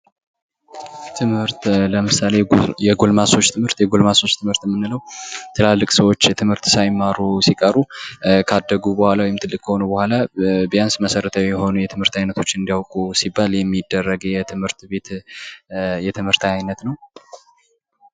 ትምህርት ለምሳሌ የጎልማሶች ትምህርት፦ የጎልማሶች ትምህርት የምንለው ትላልቅ ሰዎች ትምህርት ሳይማሩ ሲቀሩ ታደጉ በኋላ ወይም ደግሞ ትልቅ ከሆኑ በኋላ ቢያንስ መሠረታዊ የሆኑ ትምህርት አይነቶችን እንዲያውቁ ሲባል የሚደረግ የትምህርት ቤት የትምህርት አይነት ነው።